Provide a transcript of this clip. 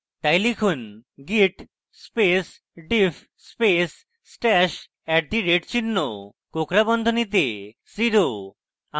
তাই লিখুন: git space diff space stash at the rate @ চিহ্ন কোঁকড়া বন্ধনীতে zero